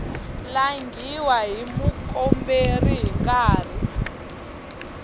langhiwa hi mukomberi hi nkarhi